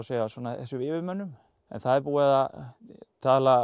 þessum yfirmönnum en það er búið að tala